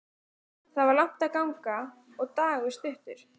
Það var langt að ganga og dagur stuttur.